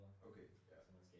Okay, ja